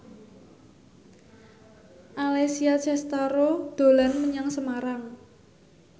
Alessia Cestaro dolan menyang Semarang